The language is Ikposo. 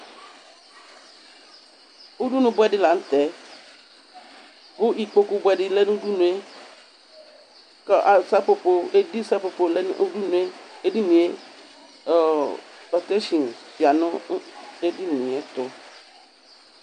Udunu buɛ di la nʋ tɛ kʋ ikpoku buɛ di lɛ nʋ udunu e kʋ sapopo, edi sapopo lɛ nʋ udunu e Edini e, ɔɔ, patesin ya nʋ edini e ɛtʋ